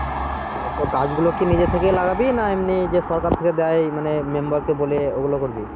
তো গাছ গুলো কি নিজে থেকে লাগাবি না এমনি যে সরকার থেকে দেয় মানে member কে বলে ওগুলো করবি?